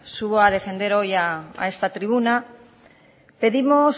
subo a defender hoy a esta tribuna pedimos